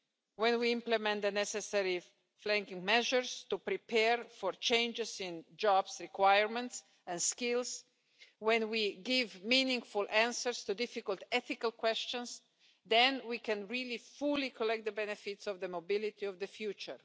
When we implement the necessary flanking measures to prepare for changes in jobs requirements and skills, and when we give meaningful answers to difficult ethical questions, then we can fully reap the benefits of the mobility of the future.